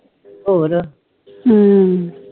ਹੋਰ